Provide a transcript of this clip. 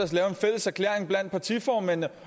blandt partiformændene